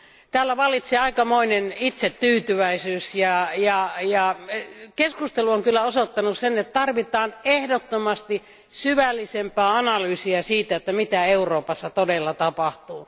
Täällä vallitsee aikamoinen itsetyytyväisyys, ja keskustelu on kyllä osoittanut sen, että tarvitaan ehdottomasti syvällisempää analyysia siitä, mitä Euroopassa todella tapahtuu.